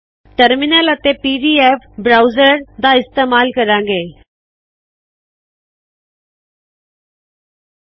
terminal ਅਤੇ P D F browser ਦਾ ਇਸਤੇਮਾਲ ਕਰਾੰ ਗੈ